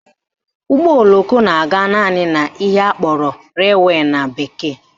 Ụgbọoloko na-aga naanị n'ihe akpọrọ railway na bekee